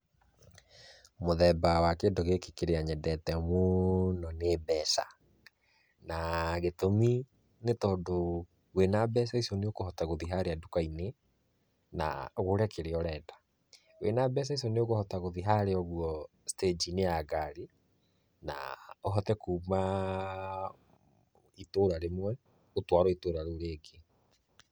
Mũthemba wa kĩndũ gĩkĩ kĩrĩa nyendete mũno nĩ mbeca. Na gĩtũmi nĩ tondũ wĩna mbeca icio nĩ ũkũhota gũthiĩ harĩa duka-inĩ, na ũgũre kĩrĩa ũrenda. Wĩna mbeca icio nĩ ũkũhota gũthiĩ harĩa ũguo stage inĩ ya ngari, na ũhote kuma itũra rĩmwe, ũtwarwo itũra rĩu rĩngĩ.